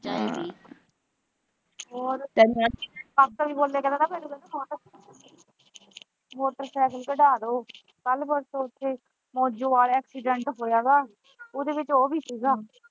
Motorcycle ਕੱਡਾਦੇ ਕੱਲ੍ਹ ਪਰਸੋਂ ਉੱਥੇ ਮੋਜੋਆਲ ਐਕਸੀਡੈਂਟ ਹੋਇਆ ਗਾ ਉਹਦੇ ਵਿੱਚ ਉਹ ਵੀ ਸੀ ਗਾ।